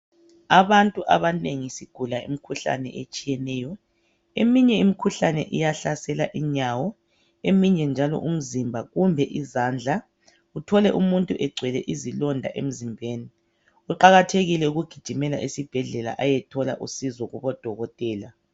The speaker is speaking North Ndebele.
Abantu abanengi sigula imikhuhlane etshiyeneyo. Eminye imikhuhlane iyahlasela inyawo, eminye njalo umzimba kumbe izandla uthole umuntu egcwele izilonda emzimbeni. Kuqakathekile ukugijimela esibhedlela ayethola usizo kubo dokotela.